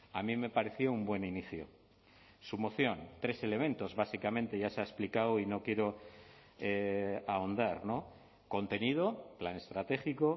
a mí me pareció un buen inicio su moción tres elementos básicamente ya se ha explicado y no quiero ahondar contenido plan estratégico